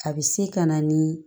A bɛ se ka na ni